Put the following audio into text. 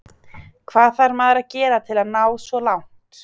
Hvað þarf maður að gera til að ná svo langt?